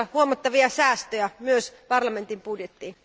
huomattavia säästöjä myös parlamentin budjettiin.